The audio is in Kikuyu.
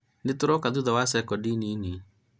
nĩ tũroka thutha wa sekodi nini